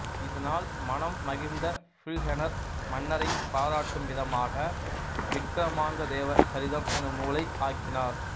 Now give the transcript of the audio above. இதனால் மனம் மகிழ்ந்த பில்ஹணர் மன்னரைப் பாராட்டும் விதமாக விக்கிரமாங்கதேவ சரிதம் எனும் நூலை ஆக்கினார்